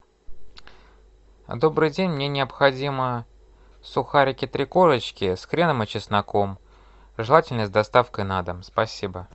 добрый день мне необходимы сухарики три корочки с хреном и чесноком желательно с доставкой на дом спасибо